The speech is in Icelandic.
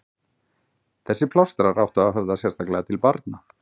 Þessir plástrar áttu að höfða sérstaklega til barna.